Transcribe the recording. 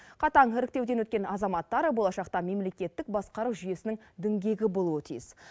қатаң іріктеуден өткен азаматтар болашақта мемлекеттік басқару жүйесінің діңгегі болуы тиіс